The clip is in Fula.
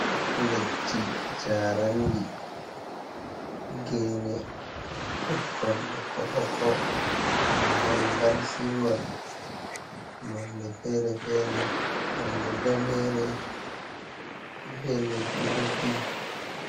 Leddi jarandi, gene duɗkon ɓokko-ɓokko, mahol gar singol nonde fere-fere nonde danere be leddi-leddi.